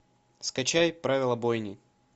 скачай правила бойни